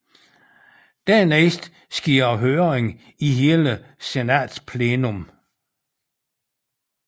Dernæst sker der høring i hele senatsplenum